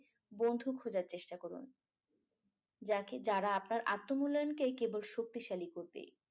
বন্ধু খোঁজার চেষ্টা করুন । যারা যাকে আপনার আত্ম মূল্যায়নকে কেবল শক্তিশালী করবে।